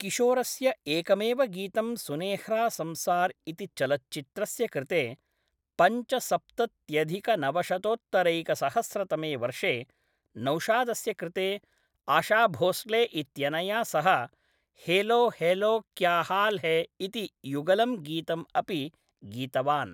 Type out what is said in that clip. किशोरस्य एकमेव गीतं सुनेह्रा संसार् इति चलच्चित्रस्य कृते, पञ्चसप्तत्यधिकनवशतोत्तरैकसहस्रतमे वर्षे नौशादस्य कृते, आशा भोसले इत्यनया सह हेलो हेलो क्या हाल् है इति युगलं गीतम् अपि गीतवान्।